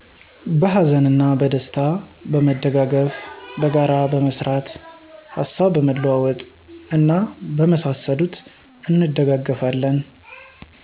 በሀዘንና በደስታ በመደጋገፍ፣ በጋራ በመስራት፣ ሀሳብ በመለዋወጥ እና በመሳሰሉት እንደጋገፋለን።